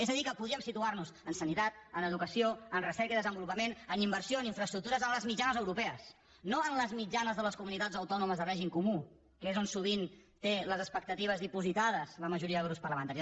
és a dir que podríem situar nos en sanitat en educació en recerca i desenvolupament en inversió en infraestructures en les mitjanes europees no en les mitjanes de les comunitats autònomes de règim comú que és on sovint tenen les expectatives dipositades la majoria de grups parlamentaris